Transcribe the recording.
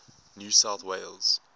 new south wales